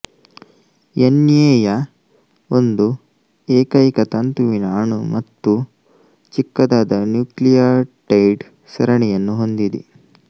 N A ಯ ಒಂದು ಏಕೈಕತಂತುವಿನ ಅಣು ಮತ್ತು ಚಿಕ್ಕದಾದ ನ್ಯೂಕ್ಲಿಯೊಟೈಡ್ ಸರಣಿಯನ್ನು ಹೊಂದಿದೆ